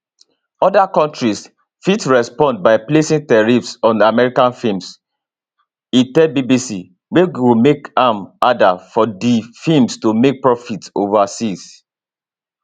oda countries fit respond by placing tariffs on american films e tell bbc wey go make am harder for dis films to make profits overseas